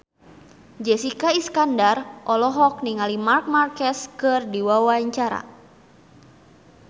Jessica Iskandar olohok ningali Marc Marquez keur diwawancara